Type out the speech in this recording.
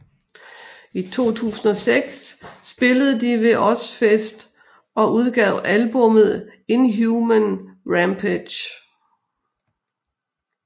I 2006 spillede de ved Ozzfest og udgav albummet Inhuman Rampage